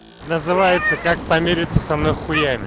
называется как помириться со мной хуями